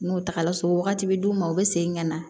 N'o tagala so wagati bi d'u ma u bi segin ka na